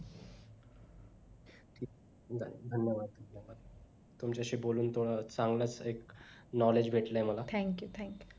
bye धन्यवाद तुमच्याशी बोलून चांगलास एक knowledge भेटलय मला